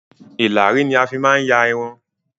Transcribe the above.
Ìlàrí ni a máa n fi ya Irun